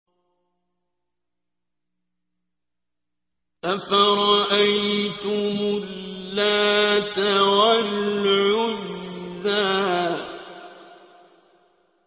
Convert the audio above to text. أَفَرَأَيْتُمُ اللَّاتَ وَالْعُزَّىٰ